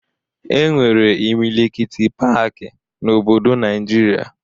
E nwere imilikiti paaki n'obodo Naịjirịa